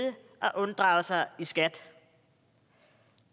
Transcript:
og unddrage sig skat